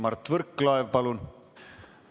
Mart Võrklaev, palun!